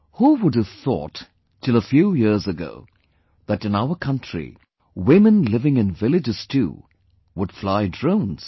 Who would have thought till a few years ago that in our country, women living in villages too would fly drones